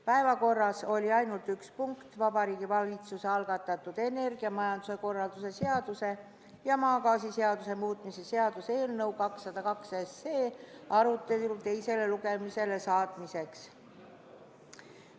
Päevakorras oli ainult üks punkt: Vabariigi Valitsuse algatatud energiamajanduse korralduse seaduse ja maagaasiseaduse muutmise seaduse eelnõu 202 arutelu teisele lugemisele saatmiseks.